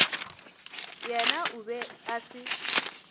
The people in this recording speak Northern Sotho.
yena o be a se